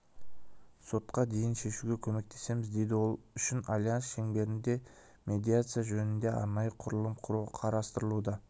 сотқа дейін шешуге көмектесеміз дейді ол үшін альянс шеңберінде медиация жөнінде арнайы құрылым құру қарастырылуда